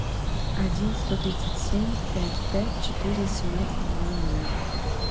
один сто тридцать семь пять пять четыре семнадцать два ноля